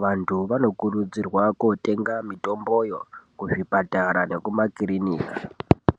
Vantu vanokurudzirwa kotenga mitomboyo kuzvipatara nekumakirinika.